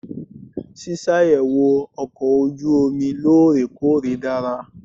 Ṣíṣàyẹ̀wò ọkọ̀ ojú omi lóòrè-kóòrè dára.